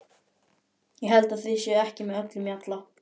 Ég held að þið séuð ekki með öllum mjalla!